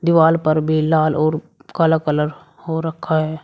Wall पर भी लाल और काला कलर हो रखा है।